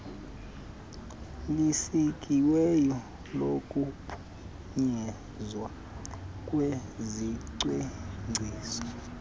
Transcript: elisikiweyo lokuphunyezwa kwezicwangciso